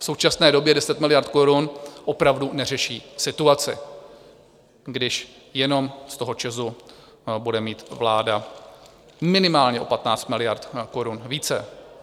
V současné době 10 miliard korun opravdu neřeší situaci, když jenom z toho ČEZu bude mít vláda minimálně o 15 miliard korun více.